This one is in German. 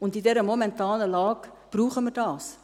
Und in der momentanen Lage brauchen wir dies;